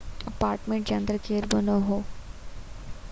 apartment جي اندر ڪير بہ نہ هو